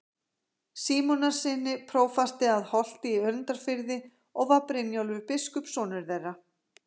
Símonarsyni, prófasti að Holti í Önundarfirði, og var Brynjólfur biskup sonur þeirra.